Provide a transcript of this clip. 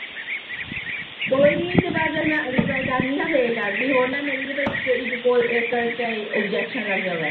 ਕੋਈ ਨੀ ਫਿਰ ਜਦ ਮੈਂ ਅਗਲੀ ਵਾਰ ਕਰਨੀ ਨਾ, ਫੇਰ ਕਰਲੀਂ, ਹੋਰ ਨਾ, ਹੋਰ ਨਾ ਮੇਰੀ ਤੇ ਭਾਈ ਇੱਕ, ਇੱਕ ਕਾਲ ਅਹ ਤੇ ਆਬਜ਼ੈਕਸ਼ਨ ਲੱਗ ਜਾਵੇ।